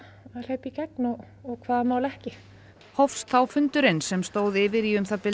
hleypa í gegn og hvaða mál ekki hófst þá fundurinn sem stóð yfir í um það bil